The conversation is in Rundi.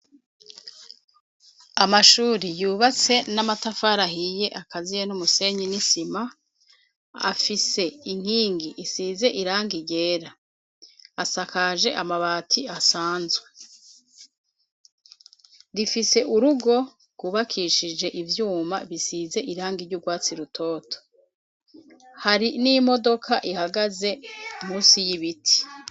amashure yubatse n'amatafara ahiye akaziye n'umusenyi n'isima afise inkingi isize iranga igera asakaje amabati asanzwe, rifise urugo rwubakishije ivyuma bisize iranga iry'ubwatsi rutoto hari n'imodoka ihagaze munsi y'ibiti.